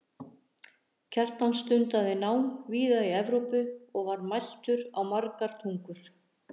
kjartan stundaði nám víða í evrópu og var mæltur á margar tungur